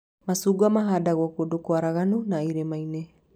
Macungwa mahandagwo kũndũ kwaraganu na irĩma-inĩ